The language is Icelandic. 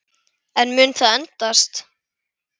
En mun það endast?